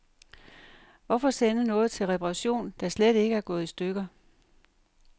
Hvorfor sende noget til reparation, der slet ikke er gået i stykker.